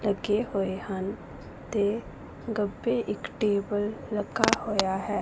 ਲੱਗੇ ਹੋਏ ਹਨ ਤੇ ਖੱਬੇ ਇੱਕ ਟੇਬਲ ਰੱਖਾ ਹੋਇਆ ਹੈ।